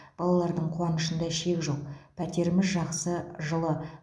балалардың қуанышында шек жоқ пәтеріміз жақсы жылы